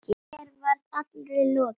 Mér var allri lokið.